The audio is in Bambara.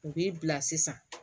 U b'i bila sisan